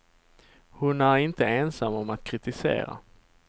Hon är inte ensam om att kritisera.